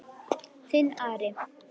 Þinn Ari.